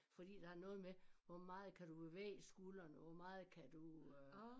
Fordi der er noget med hvor meget kan du bevæge skuldrene hvor meget kan du øh